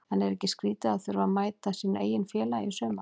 En er ekki skrítið að þurfa að mæta sínu eigin félagi í sumar?